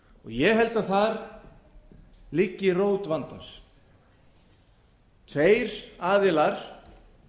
ég held að þar liggi rót vandans þeir aðilar